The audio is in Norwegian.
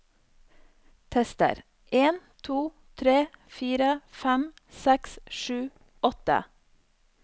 Tester en to tre fire fem seks sju åtte